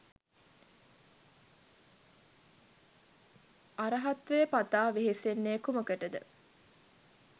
අර්හත්වය පතා වෙහෙසෙන්නේ කුමකටද?